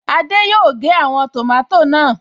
Adé yòó gé àwọn tòmátò náà